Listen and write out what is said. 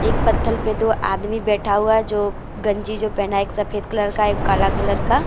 एक पत्थल पर दो आदमी बैठा हुआ है जो गंजी जो पहना है एक सफेद कलर का एक काला कलर का।